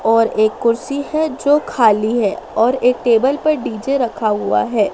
और एक कुर्सी है जो खाली है और एक टेबल पर डी_जे रखा हुआ है।